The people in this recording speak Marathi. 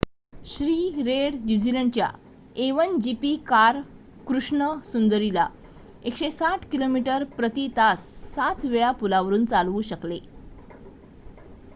श्री रेड न्यूझीलंडच्या a1gp कार कृष्ण सुंदरी ला 160 किमी/प्रती तास 7 वेळा पुलावरून चालवू शकले